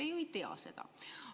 Te ju ei tea seda.